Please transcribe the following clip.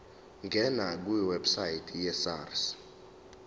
ngena kwiwebsite yesars